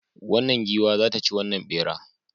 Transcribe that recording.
Wannan giwa za ta ci wannan bera